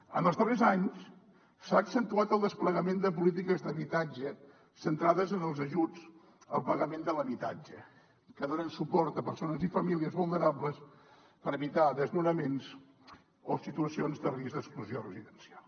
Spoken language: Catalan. en els darrers anys s’ha accentuat el desplegament de polítiques d’habitatge centrades en els ajuts al pagament de l’habitatge que donen suport a persones i famílies vulnerables per evitar desnonaments o situacions de risc d’exclusió residencial